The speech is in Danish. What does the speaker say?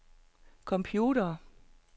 computere